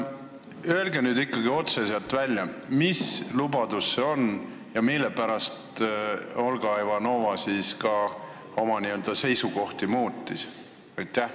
Öelge nüüd ikkagi otse välja, mis lubadus see on ja mille pärast Olga Ivanova oma seisukohta muutis!